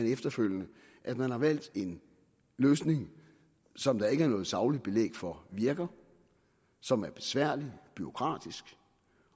efterfølgende at man har valgt en løsning som der ikke er noget sagligt belæg for virker som er besværlig bureaukratisk